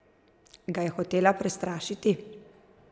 Ga je hotela prestrašiti?